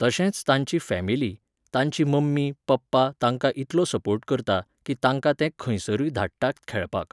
तशेंच तांची फॅमिली, ताची मम्मी पप्पा तांकां इतलो सपोर्ट करता की तांकां ते खंयसरुय धाडटात खेळपाक.